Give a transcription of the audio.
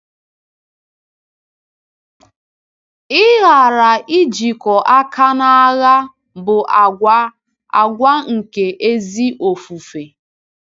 Ịghara ijikọ aka n’agha bụ àgwà àgwà nke ezi ofufe.